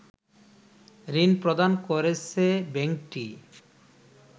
ঋণ প্রদান করেছে ব্যাংকটি